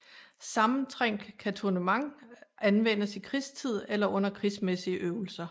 Sammentrængt kantonnement anvendes i krigstid eller under krigsmæssige øvelser